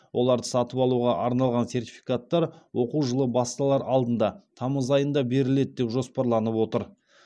оларды сатып алуға арналған сертификаттар оқу жылы басталар алдында тамыз айында беріледі деп жоспарланып отыр